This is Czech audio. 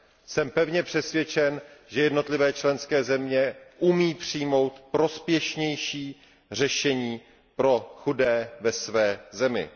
Jsem pevně přesvědčen, že jednotlivé členské země umí přijmout prospěšnější řešení pro chudé ve své zemi.